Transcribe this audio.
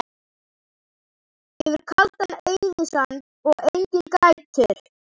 Yfir kaldan eyðisand og Enginn grætur